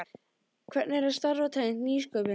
Hvernig er að starfa tengt nýsköpun?